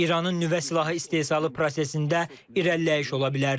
İranın nüvə silahı istehsalı prosesində irəliləyiş ola bilərdi.